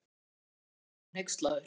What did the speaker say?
spurði Emil og var nú hneykslaður.